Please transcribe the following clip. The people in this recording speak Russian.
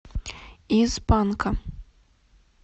из панка